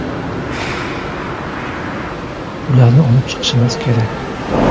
Ularni olib chiqishimiz kerak”.